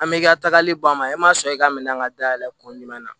An bɛ i ka tagali bɔ a ma e ma sɔn i ka minɛn ka dayɛlɛ kun jumɛn na